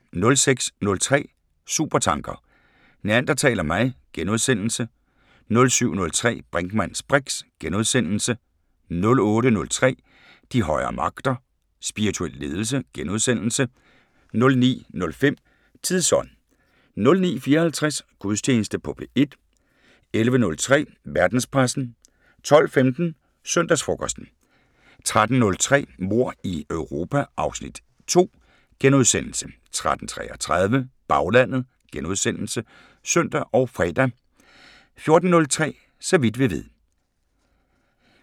06:03: Supertanker: Neandertal og mig * 07:03: Brinkmanns briks * 08:03: De højere magter: Spirituel ledelse * 09:05: Tidsånd 09:54: Gudstjeneste på P1 11:03: Verdenspressen 12:15: Søndagsfrokosten 13:03: Mord i Europa (Afs. 2)* 13:33: Baglandet *(søn og fre) 14:03: Så vidt vi ved